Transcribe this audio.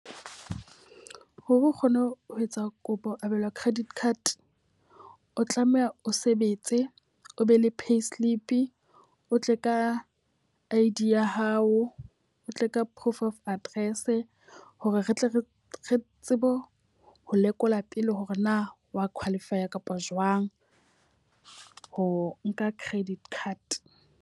Hore o kgone ho ho etsa kopo ho abelwa credit card, o tlameha o sebetse, o be le payslip, o tle ka I_D ya hao, o tle ka proof of address. Hore re tle re re tsebe ho ho lekola pele hore na wa qualify a kapa jwang ho nka credit card.